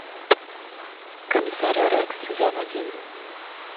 комиссар рекс сезон один